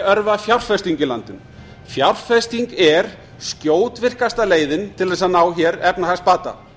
örva fjárfestingu í landinu fjárfesting er skjótvirkasta leiðin til þess að ná hér efnahagsbata